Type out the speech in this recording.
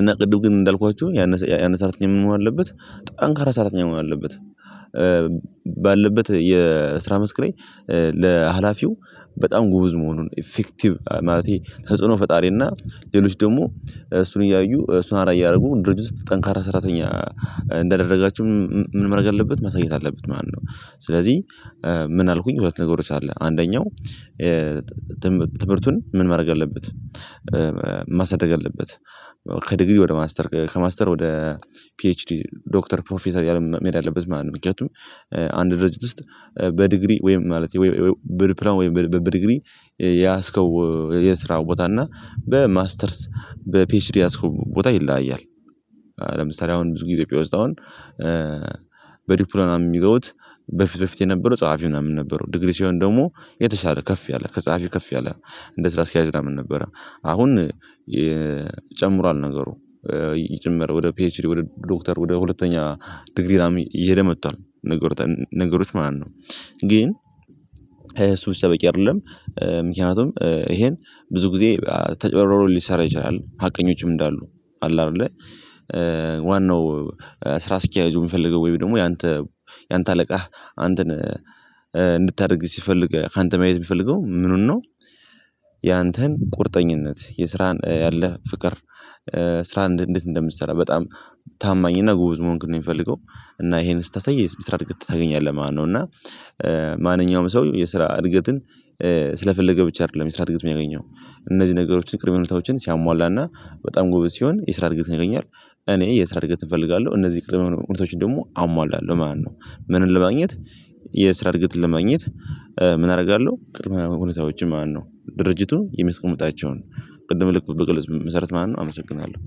እና ቅድም ግን እንዳልኳችሁ ያን ሰራተኛ ምን መሆን አለበት ጠንካራ ሰራተኛ መሆን አለበት። ባለበት የስራ መስክ ላይ ለሀላፊው በጣም ጎበዝ መሆኑን ኢፌክቲቭ ማለቴ ተጽዕኖ ፈጣሪ እና ሌሎች ደግሞ እሱን እያዩ እሱን አራ እያረጉ ድርጅት ጠንካራ ሰራተኛ እንዳደረጋቸው ምን መረግ አለበት መሳየት አለበት ማለት ስለዚህ ምን አልኩኝ ሁለት ነገሮች አለ አንደኛው ትምህርቱን ምን ማድረግ አለበት ማሳደግ አለበት ከዲግሪ ወደ ማስተር ከማስተር ወደ ፒኤችዲ ዶክተር ፕሮፌሰር እያለ መሄድ አለበት ማለት ነው ምክንያቱም አንድ ድርጅት ውስጥ በዲግሪ ወይም ማለት ወይም በዲፕሎማ በዲግሪ የያዝከው የስራ ቦታ እና በማስተርስ በፒኤችዲ የያዝከው ቦታ ይለያያል ለምሳሌ አሁን ብዙ ኢትዮጵያ ውስጥ አሁን በዲክፕሎማ የሚገቡት በፊት በፊት የነበረው ጸሐፊ ምናምን ነበረው ዲግሪ ሲሆን ደግሞ የተሻለ ከፍ ያለ ከጸሀፊው ከፍ ያለ እንደ ስራ አስኪያጅ ምናምን ነበረ አሁን ይጨምሯል ነገሩ ይጨምር ወደ ፒኤችዲ ወደ ዶክተር ወደ ሁለተኛ ዲግሪ ምናምን እየሄደ መጥቷል ነገር ነገሮች ማለት ነው ግን እሱ በቂ አይደለም ምክንያቱም ይሄን ብዙ ጊዜ ተጭበሮሮን ሊሰራ ይችላል ሀቀኞችም እንዳሉ አለ አይደለ ዋናው ስራ አስኪያጁ የምፈልገው ወይም ደግሞ ያንተ ያንተ አለቃህ አንተን እንድታደርግ ሲፈልግ ካንተ ማየት የሚፈልገው ምኑን ነው ያንተን ቁርጠኝነት የስራን ያለህ ፍቅር ስራህን እንዴት እንደምትሰራ በጣም ታማኝ እና ጎበዝ መሆንክህን ነው የምፈልገው እና ይሄን ስታሳይ ስራ እድገት ታገኛለህ ማለት ነው እና ማንኛውም ሰው የስራ እድገትን ስለፈለገ ብቻ አይደለም የስራ እድገት የሚያገኘው እነዚህ ነገሮችን ቅድመ ሁኔታወችን ሲያሟላና በጣም ጎበዝ ሲሆን የስራ እርግጠኝ ያገኛል። እኔ የስራ እድገት እፈልጋለሁ እነዚህ ቅድም ሁኔታወችን ደግሞ አሟላለሁ መለት ነው ምንን ለማግኘት የስራ እድገትን ለማግኘት ምን አደርጋለሁ ቅድመ ሁኔታዎች ማለት ነው ድርጅቱ የሚስቀምጣቸውን ቅድም ልክ በገለጽኩ መሰረት ማለት ነው አመሰግናለሁ